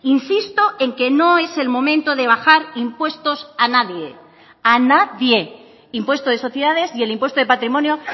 insisto en que no es el momento de bajar impuestos a nadie a nadie impuesto de sociedades y el impuesto de patrimonio